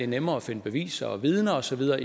nemmere at finde beviser og vidner og så videre